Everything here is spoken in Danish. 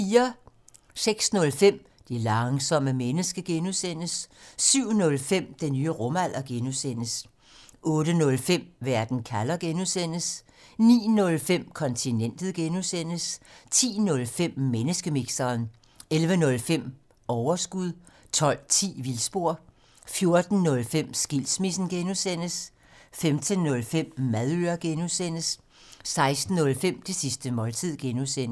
06:05: Det langsomme menneske (G) 07:05: Den nye rumalder (G) 08:05: Verden kalder (G) 09:05: Kontinentet (G) 10:05: Menneskemixeren 11:05: Overskud 12:10: Vildspor 14:05: Skilsmissen (G) 15:05: Madøre (G) 16:05: Det sidste måltid (G)